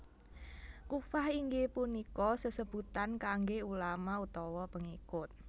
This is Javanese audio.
Kuffah inggih punika sesebutan kangge ulama utawa pengikut